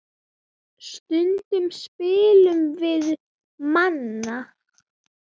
Stundum spilum við Manna.